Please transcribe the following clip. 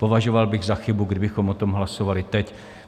Považoval bych za chybu, kdybychom o tom hlasovali teď.